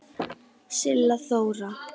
Silla Þóra.